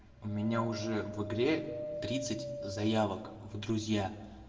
у меня уже в игре тридцать заявок в друзья